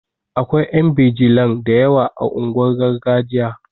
Akwai ƴan bijilan da yawa a unguwar gargajiya